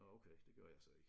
Nå okay det gjorde jeg så ikke